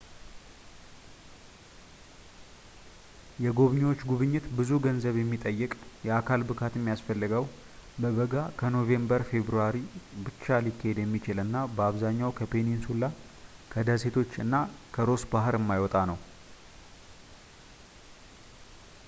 የጎብኚዎች ጉብኝት ብዙ ገንዘብ የሚጠይቅ የአካል ብቃት የሚያስፈልገው በበጋ ከኖቬምበር ፌብራሪ ብቻ ሊካሄድ የሚችል እና በአብዛኛው ከፔኒንሱላ ከደሴቶች እና ከሮስ ባህር የማይወጣ ነው